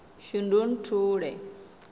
shundunthule